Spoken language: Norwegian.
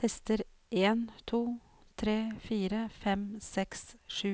Tester en to tre fire fem seks sju